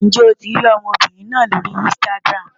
Ǹjẹ́ o ti rí ọmọbìnrin náà lórí Instagram?